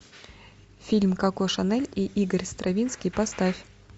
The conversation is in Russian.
фильм коко шанель и игорь стравинский поставь